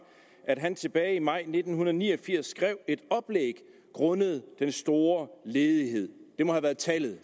at han tilbage i maj nitten ni og firs skrev et oplæg grundet den store ledighed det må have været tallet